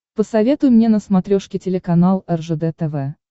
посоветуй мне на смотрешке телеканал ржд тв